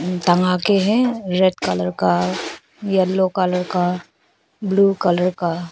टंगा के है रेड कलर का येलो कलर का ब्लू कलर का--